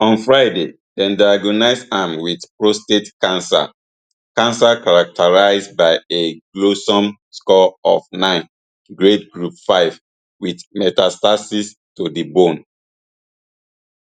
on friday dem diagnose am wit prostate cancer cancer characterised by a gleason score of nine grade group five wit metastasis to di bone